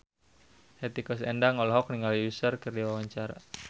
Hetty Koes Endang olohok ningali Usher keur diwawancara